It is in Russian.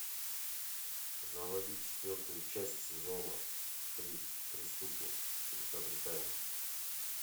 заводи четвертую часть сезона три преступник великобритания